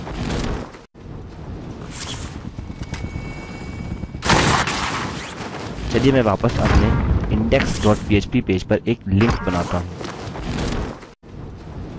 चलिए मैं वापस अपने index dot php पेज पर एक लिंक बनाता हूँ